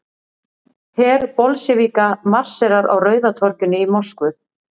Her Bolsévíka marserar á Rauða torginu í Moskvu.